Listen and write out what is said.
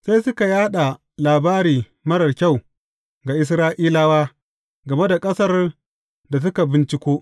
Sai suka yaɗa labari marar kyau ga Isra’ilawa game da ƙasar da suka binciko.